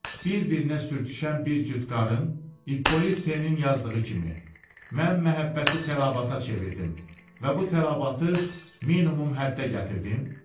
Bir-birinə sürtüşən bir cüt qarın, İppolit Tenin yazdığı kimi, mən məhəbbəti təlabata çevirdim və bu təlabatı minimum həddə gətirdim?